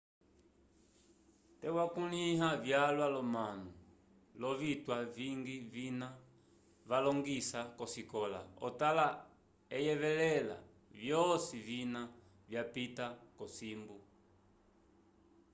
te wakunlya vyalwa lo manu lovitwa vingi vina valongisa kosikola otala oyevelela vyoci vina vyapita kocimbu